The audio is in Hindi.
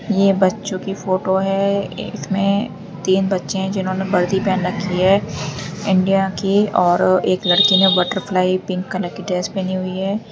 ये बच्चों की फोटो है इसमें तीन बच्चे हैं जिन्होंने वर्दी पहन रखी है इंडिया की और एक लड़की ने बटरफ्लाई पिंक कलर की ड्रेस पहनी हुई है।